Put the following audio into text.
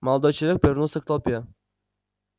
молодой человек повернулся к толпе